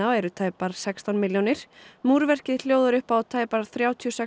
eru tæpar sextán milljónir hljóðar upp á tæpar þrjátíu og sex